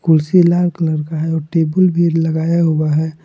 कुर्सी लाल कलर का है और टेबुल भी लगाया हुआ है।